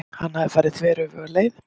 Hann hafði farið þveröfuga leið.